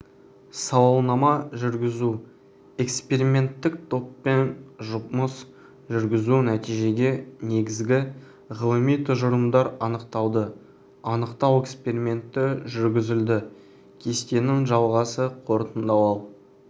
сауалнама жүргізу эксперименттік топпен жұмыс жүргізу нәтижеге негізгі ғылыми тұжырымдар анықталды анықтау эксперименті жүргізілді кестенің жалғасы қорытындылау